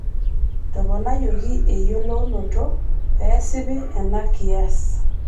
Etoponayioki eyiolounoto pee esipi ena kias.